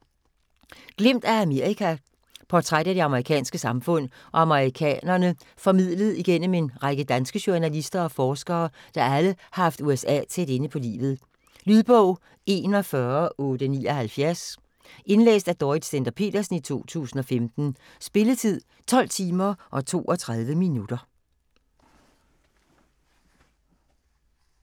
Glimt af Amerika Portræt af det amerikanske samfund og amerikanerne formidlet igennem en række danske journalister og forskere, der alle har haft USA tæt inde på livet. Lydbog 41879 Indlæst af Dorrit Stender-Petersen, 2015. Spilletid: 12 timer, 32 minutter.